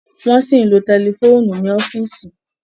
Wọ́n ṣì ń lo tẹlifóònù ni ọ́fíìsì.